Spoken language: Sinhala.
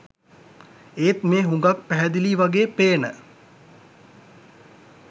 ඒත් මේ හුඟක් පැහැදිලියි වගේ පේන